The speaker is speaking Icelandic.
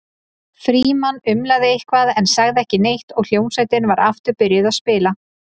Frímann umlaði eitthvað en sagði ekki neitt og hljómsveitin var aftur byrjuð að spila.